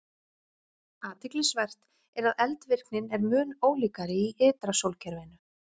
Athyglisvert er að eldvirknin er mun ólíkari í ytra sólkerfinu.